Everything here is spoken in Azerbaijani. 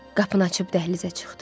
Qapını açıb dəhlizə çıxdı.